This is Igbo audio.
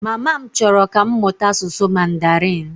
Mama m chọrọ ka m mụta asụsụ Mandarịn